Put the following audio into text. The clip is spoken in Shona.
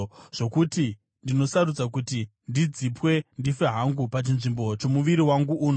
zvokuti ndinosarudza kuti ndidzipwe ndife hangu, pachinzvimbo chomuviri wangu uno.